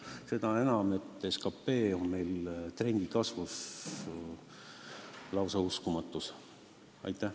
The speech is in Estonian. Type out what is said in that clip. Seda enam, et SKT on meil lausa uskumatus kasvutrendis.